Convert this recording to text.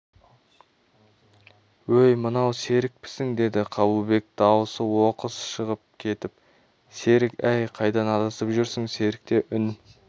өй мынау серікпісің деді қабылбек дауысы оқыс шығып кетіп серік әй қайдан адасып жүрсің серікте үн